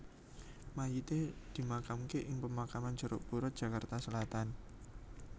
Mayite dimakamake ing Pemakaman Jeruk Purut Jakarta Selatan